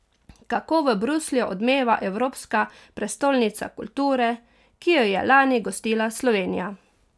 Kako v Bruslju odmeva evropska prestolnica kulture, ki jo je lani gostila Slovenija?